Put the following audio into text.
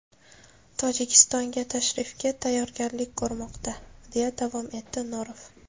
Tojikistonga tashrifga tayyorgarlik ko‘rilmoqda”, deya davom etdi Norov.